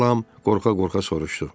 deyə Lam qorxa-qorxa soruşdu.